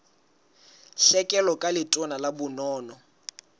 tlhekelo ka letona la bonono